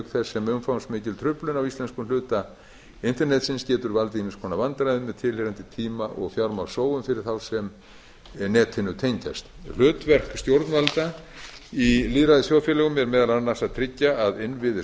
þess sem umfangsmikil truflun á íslenskum hluta internetsins getur valdið ýmiss konar vandræðum með tilheyrandi tíma og fjármagnssóun fyrir þá sem netinu tengjast hlutverk stjórnvalda í lýðræðisþjóðfélögum er meðal annars að tryggja að innviðir